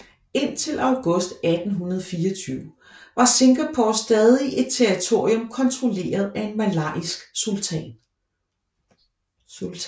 Indtil august 1824 var Singapore stadig et territorium kontrolleret af en malayisk sultan